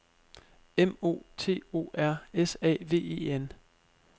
M O T O R S A V E N